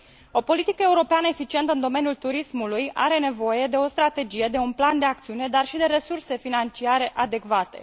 O politică europeană eficientă în domeniul turismului are nevoie de o strategie, de un plan de acțiune, dar și de resurse financiare adecvate.